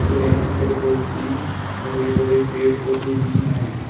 और यहां पर बहुत ही हरे भरे पेड़ पौधे भी हैं।